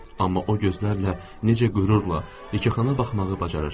Amma o gözlərlə necə qürurla, ləkəxana baxmağı bacarır.